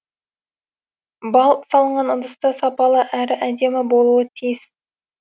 бал салынған ыдыс та сапалы әрі әдемі болуы тиіс